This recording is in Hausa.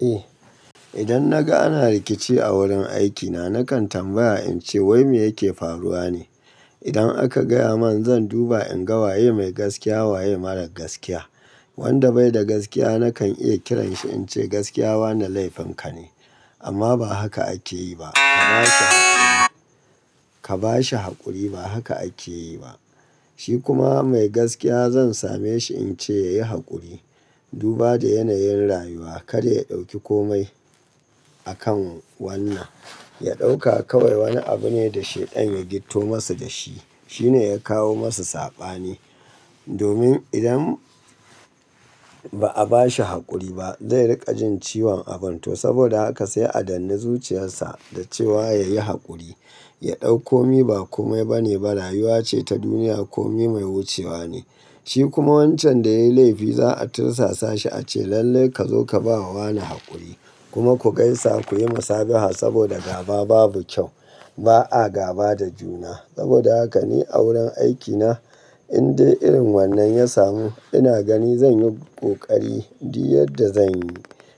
Eh, idan naga ana rikici a wurin aikina, nakan tambaya ince wai me yake faruwa ne. Idan aka gaya man, zan duba in ga waye mai gaskiya, waye marar gaskiya. Wanda bai da gaskiya nakan iya kiranshi ince gaskiya wane laifin ka ne, amma ba haka ake yi ba. Ka ba shi haƙuri, ba haka ake yi ba. Shi kuma mai gaskiya zan same shi in ce yayi haƙuri. Duba da yanayin rayuwa, kada ya ɗauki komai a kan wannan. Ya ɗauka kawai wani abu ne da Shaitan ya gitto masa da shi. Shi ne ya kawo masa saɓani. Domin idan ba a bashi haƙuri ba, zai riƙa jin ciwon abun to. Saboda haka sai a danne zuciyarsa da cewa, yayi haƙuri, ya ɗau ko mi, ba komai ba ne ba. Rayuwa ce ta duniya, komi mai wucewa ne. Shi kuma wancan da yayi laifi za'a tursasa shi a ce lallai ka zo ka ba wa wane haƙuri kuma ku gaisa ku yi masa biha. Saboda gaba babu kyau. Ba a gaba da juna. Saboda haka ni a wurin aikina in dai irin wannan ya samu, ina gani zan yi ƙoƙari duk yadda zan yi